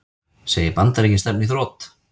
Segir Bandaríkin stefna í þrot